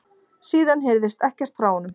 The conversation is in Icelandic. Síðan heyrðist ekkert frá honum